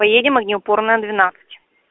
поедем огнеупорная двенадцать